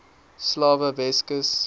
slawe weskus